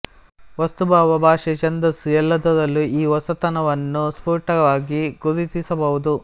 ವಸ್ತು ಭಾವ ಭಾಷೆ ಛಂದಸ್ಸು ಎಲ್ಲದರಲ್ಲೂ ಈ ಹೊಸತನವನ್ನು ಸ್ಫುಟವಾಗಿ ಗುರುತಿಸಬಹುದು